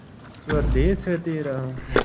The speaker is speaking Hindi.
स्वदेस है तेरा